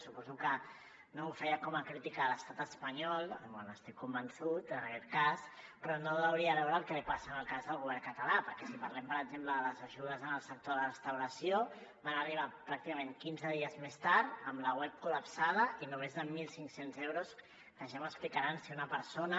suposo que no ho feia com a crítica a l’estat espanyol bé n’estic convençut en aquest cas però no deuria veure el que passa en el cas del govern català perquè si parlem per exemple de les ajudes al sector de la restauració van arribar pràcticament quinze dies més tard amb la web col·lapsada i només amb mil cinc cents euros que ja m’explicaran si una persona